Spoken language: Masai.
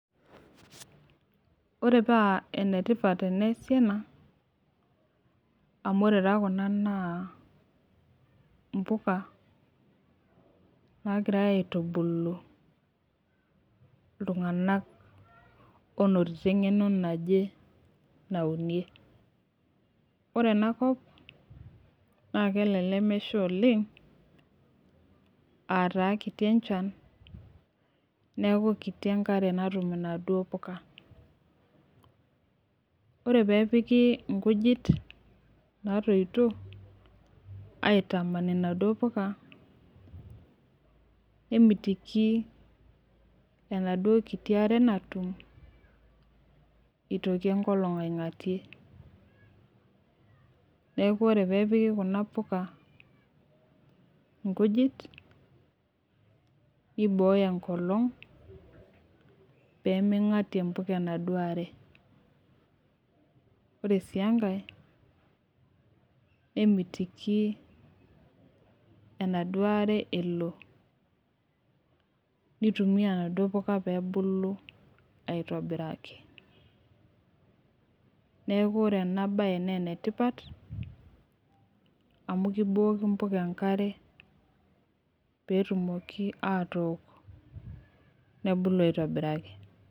Ore paa enetipat teneesi ena. amu ore taa Kuna naa mpuka naagirae aetubulu iltunganak oonotito engeno naje naunie. ore ena kop, naa kelelek mesha oleng.aa taa kiti enchan. neeku kiti enkare natum inaduoo puka. ore peepiki, nkujit naatoito. aitaman inaduoo puka. nemitiki enaduoo kiti are natum, itoki enkolong' aingatie. neeku ore peepiki Kuna puka nkujit, neibooyo enkolong' pee mingatie mpuka enaduoo are. ore sii enkae, nemeitoki enaduoo are elo, nitumia inaduoo puka pee ebulu aitobiraki. neeku ore ena bae naa ene tipat. amu kibooku mpuka enkare. peetumoki atook nebulu aitobiraki.